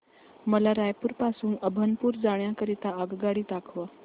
मला रायपुर पासून अभनपुर जाण्या करीता आगगाडी दाखवा